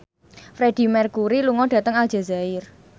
Freedie Mercury lunga dhateng Aljazair